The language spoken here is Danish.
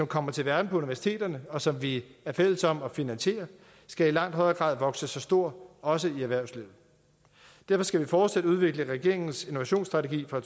kommer til verden på universiteterne og som vi er fælles om at finansiere skal i langt højere grad vokse sig stor også i erhvervslivet derfor skal vi fortsat udvikle regeringens innovationsstrategi fra